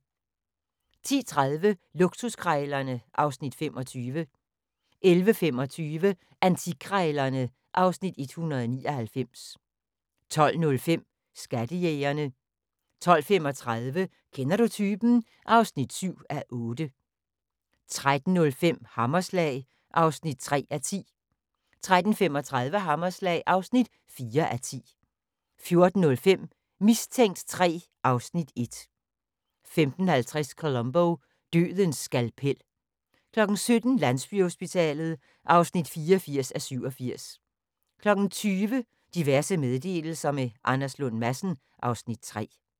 10:30: Luksuskrejlerne (Afs. 25) 11:25: Antikkrejlerne (Afs. 199) 12:05: Skattejægerne 12:35: Kender du typen? (7:8) 13:05: Hammerslag (3:10) 13:35: Hammerslag (4:10) 14:05: Mistænkt 3 (Afs. 1) 15:50: Columbo: Dødens skalpel 17:00: Landsbyhospitalet (84:87) 20:00: Diverse meddelelser – med Anders Lund Madsen (Afs. 3)